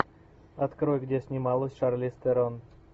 открой где снималась шарлиз терон